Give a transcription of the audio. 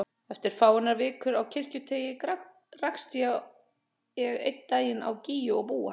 Eftir fáeinar vikur á Kirkjuteigi rakst ég einn daginn á Gígju og Búa.